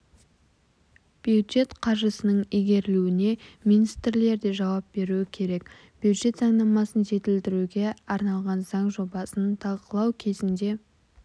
бюджет қаржысының игерілуіне министрлер де жауап беруі керек бюджет заңнамасын жетілдіруге арналған заң жобасын талқылау кезінде